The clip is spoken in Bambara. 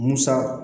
Musa